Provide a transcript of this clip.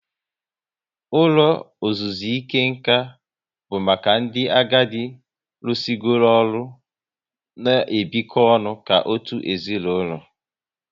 Ụlọ ozuzuike nkà bụ maka ndị agadi rusigoro ọrụ n' ebiko ọnụ ka otu ezinaụlọ